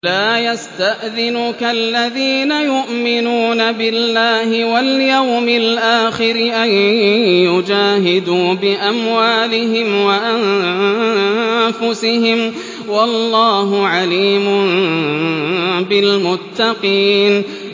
لَا يَسْتَأْذِنُكَ الَّذِينَ يُؤْمِنُونَ بِاللَّهِ وَالْيَوْمِ الْآخِرِ أَن يُجَاهِدُوا بِأَمْوَالِهِمْ وَأَنفُسِهِمْ ۗ وَاللَّهُ عَلِيمٌ بِالْمُتَّقِينَ